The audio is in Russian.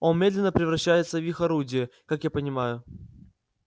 он медленно превращается в их орудие как я понимаю